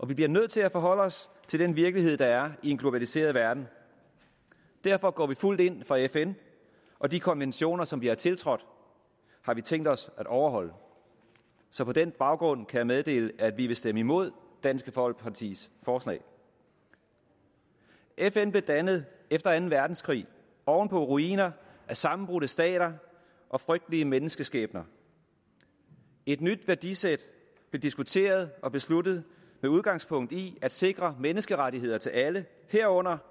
vi bliver nødt til at forholde os til den virkelighed der er i en globaliseret verden derfor går vi fuldt ind for fn og de konventioner som vi har tiltrådt har vi tænkt os at overholde så på den baggrund kan jeg meddele at vi vil stemme imod dansk folkepartis forslag fn blev dannet efter anden verdenskrig oven på ruinerne af sammenbrudte stater og frygtelige menneskeskæbner et nyt værdisæt blev diskuteret og besluttet med udgangspunkt i at sikre menneskerettigheder til alle herunder